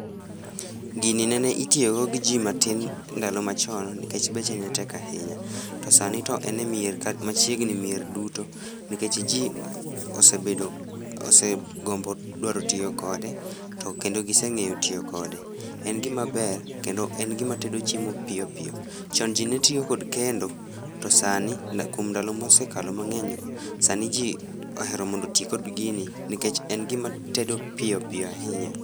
Gini nene itiyo go gi jii matin ndalo machon nikech beche ne tek ahinya to sani to en e mier, machiegni mier duto nikech jii osebedo, osegombo dwaro tiyo kode to kendo giseng'eyo tiyo kode. En gima ber kendo en gima tedo chiemo piyo piyo. Chon jii netiyo kod kendo to sani ,kuom ndalo mosekalo mangeny go, sani jii ohero mondo otii kod gini nikech en gima tedo piyo piyo ahinya